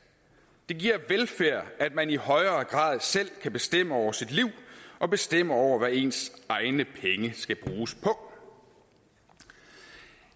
det giver velfærd at man i højere grad selv kan bestemme over sit liv og bestemme over hvad ens egne penge skal bruges på